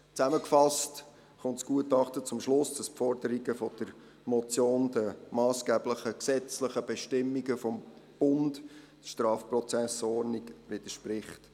Zusammengefasst kommt das Gutachten zum Schluss, dass die Forderungen der Motion den massgeblichen gesetzlichen Bestimmungen des Bundes, der StPO, widersprechen.